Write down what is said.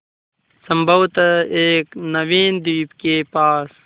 संभवत एक नवीन द्वीप के पास